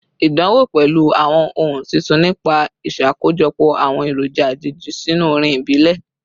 Idánwò pẹlu awọn ohun titun nipa iṣakojọpọ awọn eroja ajeji sinu orin ibile